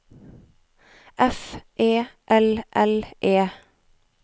F E L L E